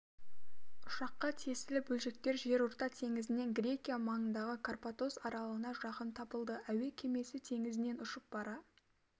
ұшаққа тиесілі бөлшектер жерорта теңізінен грекия маңындағы карпатос аралына жақын табылды әуе кемесі теңізінен ұшып бара